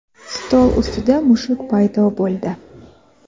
stol ustida mushuk paydo bo‘ldi.